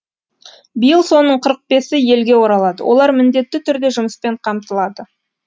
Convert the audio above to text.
биыл соның қырық бесі елге оралады олар міндетті түрде жұмыспен қамтылады